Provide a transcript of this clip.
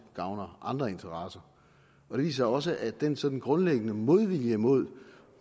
gavner andre interesser det viser også at den sådan grundlæggende modvilje mod